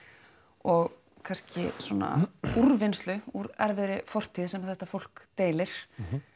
og kannski svona úrvinnslu úr erfiðri fortíð sem þetta fólk deilir